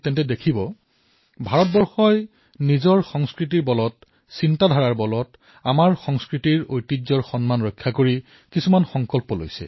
আপোনালোকে বিগত দিনকেইটাত হয়তো লক্ষ্য কৰিছে যে ভাৰতে নিজৰ সংস্কাৰৰ অনুৰূপ আমাৰ চিন্তাধাৰাৰ অনুৰূপ আমাৰ সংস্কৃতিৰ নিৰ্বাহ কৰি কিছুমান সিদ্ধান্ত গ্ৰহণ কৰিছে